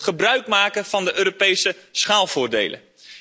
We moeten gebruik maken van de Europese schaalvoordelen.